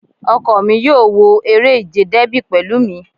Ọkọ mi yóò wo eré ìje Dẹ́bì pẹ̀lú mi